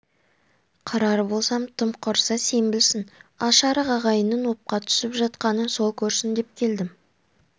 қырар болсам тым құрса сен білсін аш-арық ағайынның опқа түсіп жатқанын сол көрсін деп келдім